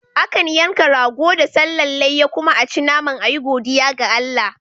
Akan yanka rago da sallan layya kuma aci naman ayi godiya ga Allah